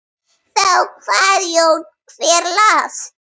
Þeir eiga tvo kosti.